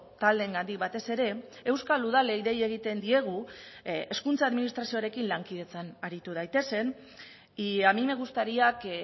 taldeengandik batez ere euskal udalei dei egiten diegu hezkuntza administrazioarekin lankidetzan aritu daitezen y a mí me gustaría que